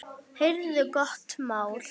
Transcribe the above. Heyrðu, gott mál!